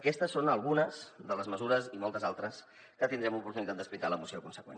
aquestes són algunes de les mesures i moltes altres que tindrem l’oportunitat d’explicar a la moció consegüent